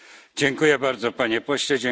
Dziękuję bardzo Panie Pośle.